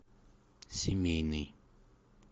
семейный